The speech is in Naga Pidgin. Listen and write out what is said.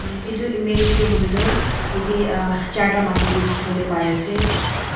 uhh eto image tehto hoiletoh yeti uhhh charta maiki ki tekibole bari ase